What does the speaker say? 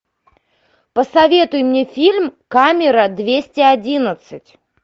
посоветуй мне фильм камера двести одиннадцать